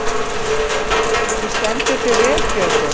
Þú stendur þig vel, Theódóra!